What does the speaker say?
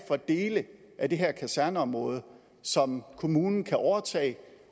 for dele af det her kaserneområde som kommunen kan overtage